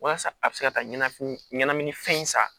Walasa a bɛ se ka taa ɲɛnamini ɲɛnaminifɛn in san